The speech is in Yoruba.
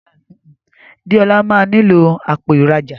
Deola má nilo Àpò ìrajà